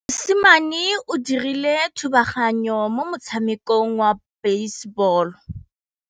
Mosimane o dirile thubaganyô mo motshamekong wa basebôlô.